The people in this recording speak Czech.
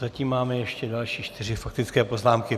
Zatím máme ještě další čtyři faktické poznámky.